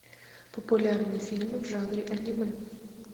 популярные фильмы в жанре аниме